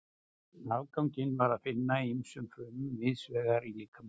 Afganginn er að finna í ýmsum frumum víðs vegar í líkamanum.